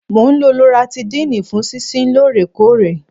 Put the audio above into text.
Mo ń lo Loratidine fún sísín lóòrèkóòrè.